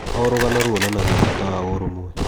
O rũgano ruonanagia bata wa ũrũmwe.